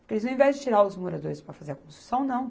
Porque eles, ao invés de tirar os moradores para fazer a construção, não.